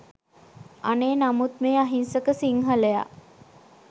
අනේ නමුත් මේ අහිංසක සිංහලයා